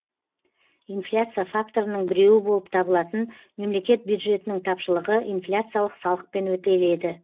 инфляция факторының біреуі болып табылатын мемлекет бюджетінің тапшылығы инфляциялық салықпен өтеледі